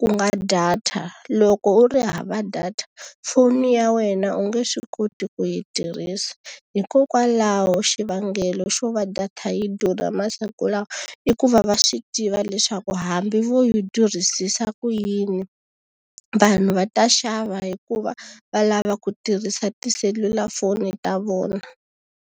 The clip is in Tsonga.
ku nga data. Loko u ri hava data foni ya wena u nge swi koti ku yi tirhisa. Hikokwalaho xivangelo xo va data yi durha masiku lawa, i ku va va swi tiva leswaku hambi vo yi durhisisa ku yini, vanhu va ta xava hikuva va lava ku tirhisa tiselulafoni ta vona.